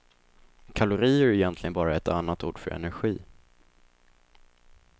Kalorier är egentligen bara ett annat ord för energi.